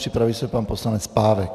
Připraví se pan poslanec Pávek.